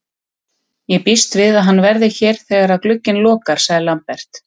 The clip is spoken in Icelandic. Ég býst við að hann verði hér þegar að glugginn lokar, sagði Lambert.